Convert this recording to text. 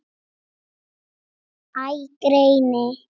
Æ, greyin.